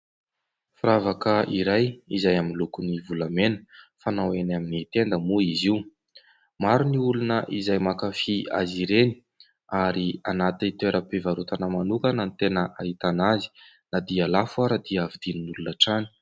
Firavaka iray izay miloko volamena fanao eny amin'ny tenda moa izy io. Maro ny olona izay mankafy azy ireny ary anaty toeram-pivarotana manokana ny tena ahitana azy. Na dia lafo aza dia vidian'ny olona hatrany